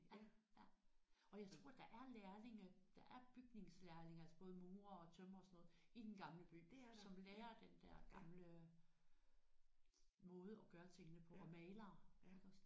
Ja ja og jeg tror der er lærlinge der er bygningslærlinge altså både murere og tømrere og sådan noget i Den Gamle By som lærer den der gamle måde at gøre tingene på og malere iggås